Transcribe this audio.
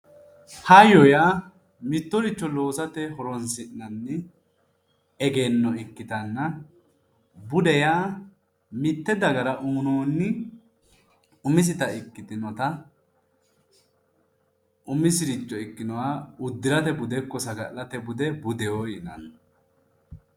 Hayyo yaa mittoricho loosate horonsi'nanni egenno ikkittanna, bude yaa mite dagara umisetta ikkitinotta umisire ikkinoha uddirate bude budeho yinnani